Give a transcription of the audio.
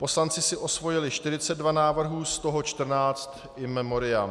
Poslanci si osvojili 42 návrhů, z toho 14 in memoriam.